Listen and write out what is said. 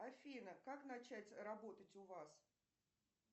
афина как начать работать у вас